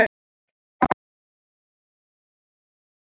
Magnús: Hvað er skemmtilegast við þessa tegund?